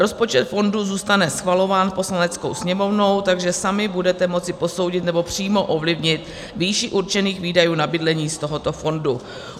Rozpočet fondu zůstane schvalován Poslaneckou sněmovnou, takže sami budete moci posoudit, nebo přímo ovlivnit výši určených výdajů na bydlení z tohoto fondu.